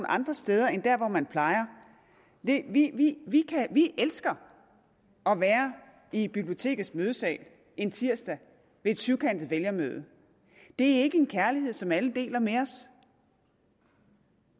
andre steder end der hvor man plejer vi elsker at være i bibliotekets mødesal en tirsdag ved et syvkantet vælgermøde det er ikke en kærlighed som alle deler med os